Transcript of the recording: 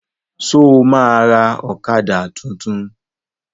Ṣo ma ra ọ̀kadà tuntun?